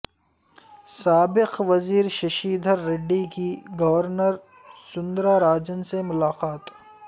سابق وزیر ششی دھر ریڈی کی گورنر سوندرا راجن سے ملاقات